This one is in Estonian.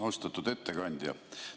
Austatud ettekandja!